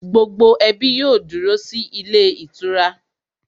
Gbogbo ẹbí yóò dúró sí ilé ìtura